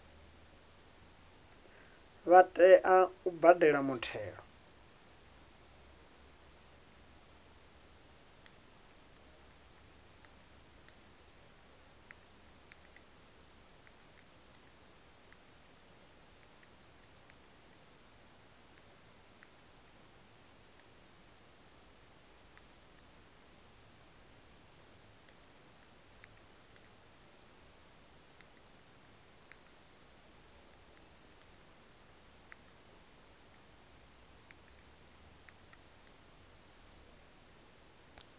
vha tea u badela muthelo